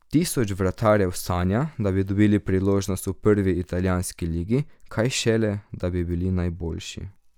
Tisoč vratarjev sanja, da bi dobili priložnost v prvi italijanski ligi, kaj šele, da bi bili najboljši.